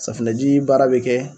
Safunɛji baara be kɛ